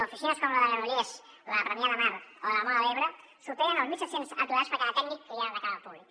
oficines com la de granollers la de premià de mar o la de móra d’ebre superen els mil set cents aturats per cada tècnic que hi ha de cara al públic